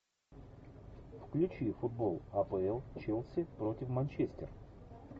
включи футбол апл челси против манчестер